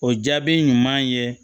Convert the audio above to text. O jaabi ɲuman ye